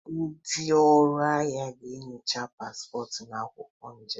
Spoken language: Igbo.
Ndị ọrụ ahịa ga-enyocha paspọtụ na akwụkwọ njem.